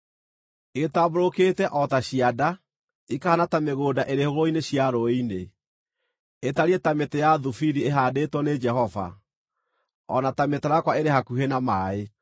“Igĩtambũrũkĩte o ta cianda, ikahaana ta mĩgũnda ĩrĩ hũgũrũrũ cia rũũĩ-inĩ, itariĩ ta mĩtĩ ya thubiri ĩhaandĩtwo nĩ Jehova, o na ta mĩtarakwa ĩrĩ hakuhĩ na maaĩ.